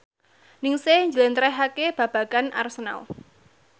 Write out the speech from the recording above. Ningsih njlentrehake babagan Arsenal